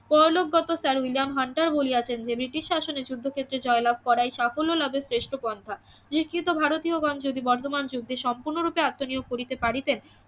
পরলোকগত sir William Hunter বলিয়াছেন যে British শাসনে যুদ্ধক্ষেত্রে জয়লাভ করাই সাফল্য লাভের শ্রেষ্ঠ পন্থা শিক্ষিত ভারতীয়গণ যদি বর্তমান যুদ্ধে সম্পূর্ণ ভাবে আত্মনিয়োগ করিতে পারিতেন